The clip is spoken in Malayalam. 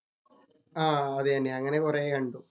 ആഹ് അത് തന്നെ. അങ്ങനെ കൊറെ കണ്ടു.